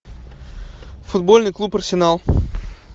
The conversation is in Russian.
футбольный клуб арсенал